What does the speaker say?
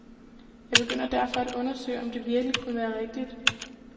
Jeg begyndte derfor at undersøge, om det virkelig kunne være rigtigt.